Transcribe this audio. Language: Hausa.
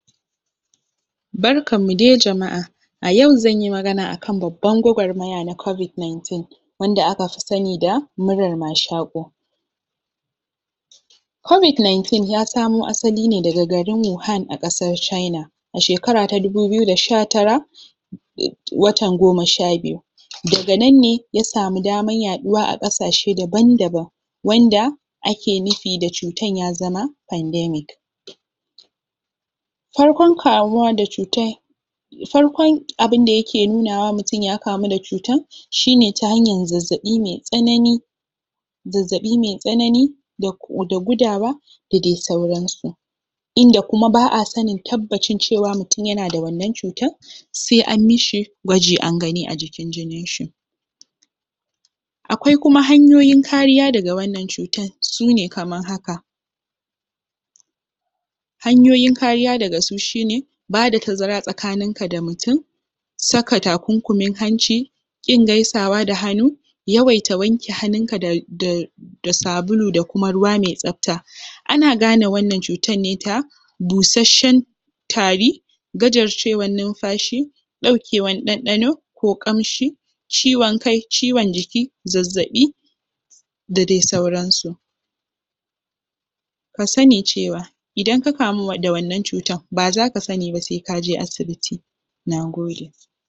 Barkanmu dai jama’a a yau zan yi magana akan babban gwagwarmaya na cobid nineteen wanda aka fi sani da murar mashaƙo covid nineteen ya samo asali ne daga garin Wuhan a ƙasar China a shekara ta dubu biyu da sha tara watan goma sha biyu daga nan ne ya samu daman yaɗuwa a ƙasashe daban-daban wanda ake nufi da cutan ya zama pandemic farkon kamuwa da cutan farkon abin da yake nunawa mutum ya kamu da cutan shi ne ta hanyar zazzaɓi me tsanani zazzaɓi me tsanani da da gudawa da dai sauransu Inda kuma ba a sanin tabbacin cewa mutum yana da wannan cutan sai an mishi gwaji an gani a jikin jininshi akwai kuma hanyoyin kariya daga wannan cutan su ne kamar haka Hanyoyin kariya daga su shi ne bada tazara tsakaninka da mutum saka takunkumin hanci ƙin gaisawa da hannu, yawaita wanke hannunka da da da sabulu da kuma ruwa me tsafta ana gane wannan cutan ne ta busasshen tari gajarcewan numfashi ɗaukewan ɗanɗano ko ƙamshi ciwon kai, ciwon jiki, zazzaɓi da dai sauransu ka sani cewa idan ka kamu da wannan cutan ba zaka sani ba sai ka je asibiti nagode